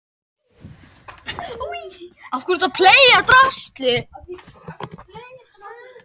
Landbúnaðarráðuneytisins væri hreinlega illa við mig!